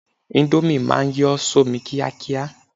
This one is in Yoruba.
Índómì ma ń yọ́ sómi kíákíá